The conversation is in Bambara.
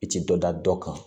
I ti dɔ da dɔ kan